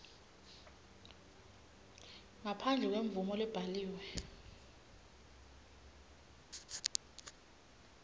ngaphandle kwemvumo lebhaliwe